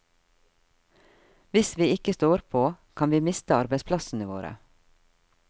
Hvis vi ikke står på, kan vi miste arbeidsplassene våre.